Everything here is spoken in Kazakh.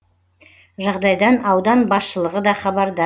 жағдайдан аудан басшылығы да хабардар